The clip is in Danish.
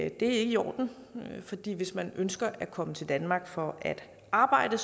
i orden hvis man ønsker at komme til danmark for at arbejde